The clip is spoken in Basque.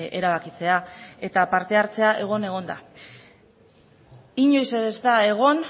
erabakitzea eta parte hartzea egon egon da inoiz ez da egon